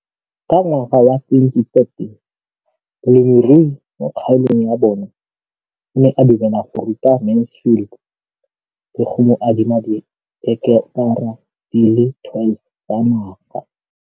Ka ngwaga wa 2013, molemirui mo kgaolong ya bona o ne a dumela go ruta Mansfield le go mo adima di heketara di le 12 tsa naga.